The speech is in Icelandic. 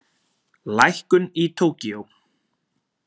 Lækkun í Tókýó